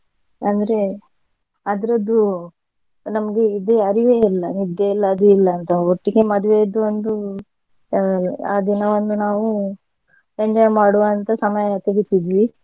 ಅಂದ್ರೆ ಅದ್ರದ್ದು ನಮ್ಗೆ ಇದು ಅರಿವೇ ಇಲ್ಲ ನಿದ್ದೆ ಇಲ್ಲ ಅದು ಇಲ್ಲಂತ ಒಟ್ಟಿಗೆ ಮದ್ವೆದು ಒಂದು ಅಹ್ ಆ ದಿನ ಒಂದು ನಾವು enjoy ಮಾಡುವ ಅಂತ ಸಮಯ ತೆಗಿತಿದ್ವಿ.